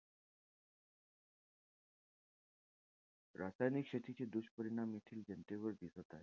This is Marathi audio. रासायनिक शेतीचे दुष्परिणाम येथील जनतेवर दिसत आहे.